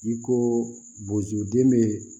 I ko bozoden be